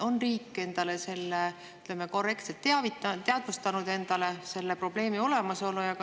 On riik endale korrektselt teadvustanud selle probleemi olemasolu?